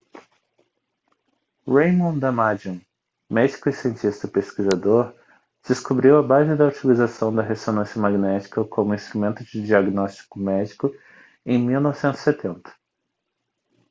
raymond damadian médico e cientista pesquisador descobriu a base da utilização da ressonância magnética como instrumento de diagnóstico médico em 1970